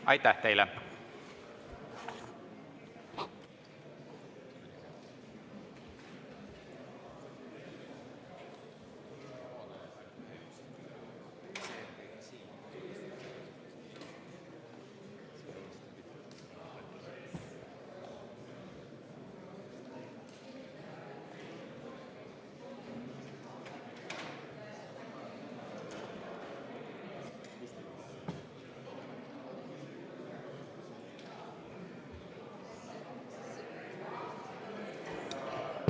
Aitäh teile!